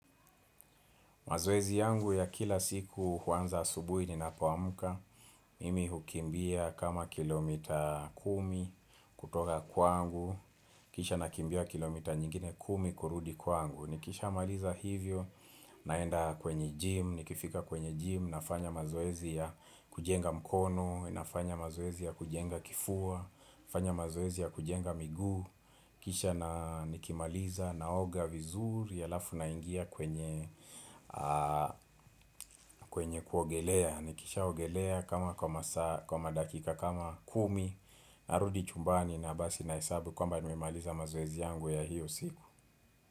Mazoezi yangu ya kila siku huanza asubuhi ninapoamka, mimi hukimbia kama kilomita kumi kutoka kwangu, kisha nakimbia kilomita nyingine kumi kurudi kwangu. Nikishamaliza hivyo, naenda kwenye gym, nikifika kwenye gym, nafanya mazoezi ya kujenga mkono, nafanya mazoezi ya kujenga kifua, nafanya mazoezi ya kujenga miguu. Kisha na nikimaliza naoga vizuri halafu naingia kwenye kwenye kuogelea. Nikishaogelea kama kwa madakika kama kumi Narudi chumbani na basi nahesabu kwamba nimemaliza mazoezi yangu ya hiyo siku.